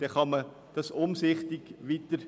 Dann kann man sie umsichtig weiterverwenden.